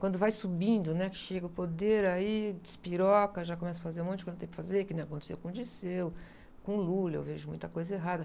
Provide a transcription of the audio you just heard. Quando vai subindo, né? Que chega o poder, aí despiroca, já começa a fazer um monte de coisa que não tem para fazer, que não aconteceu com o Dirceu, com o Lula, eu vejo muita coisa errada.